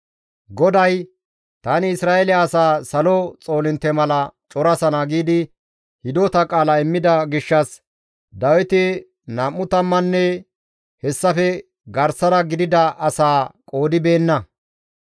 GODAY, «Tani Isra7eele asaa salo xoolintte mala corasana» giidi hidota qaala immida gishshas Dawiti nam7u tammanne hessafe garsara gidida asaa qoodibeenna.